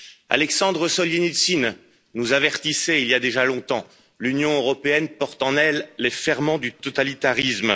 Alexandre Soljenitsyne nous avertissait, il y a déjà longtemps L'Union européenne porte en elle les ferments du totalitarisme.